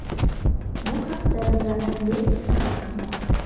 Bu haqda The Athletic xabar qilmoqda .